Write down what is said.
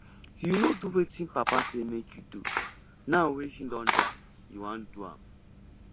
you no do wetin papa say make you do now wey he don die you wan do am